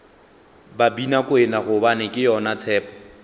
babinakwena gobane ke yona tshepo